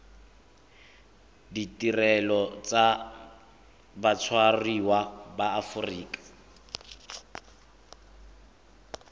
ditirelo tsa batshwariwa ba aforika